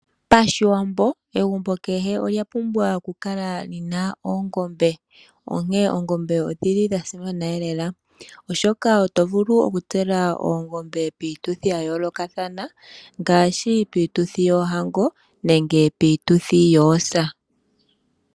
Pashiwambo egumbo kehe olya pumbwa okukala lina oongombe onkene oongombe odhili dhasimana lela oshoka otovulu okutsela ongombe piituthi ya yoolokathana ngaashi piituthi yoohango nenge piituthi yoosa.